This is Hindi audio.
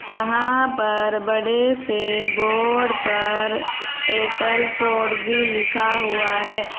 यहां पर बड़े से बोर्ड पर एयरटेल फोर जी लिखा हुआ है।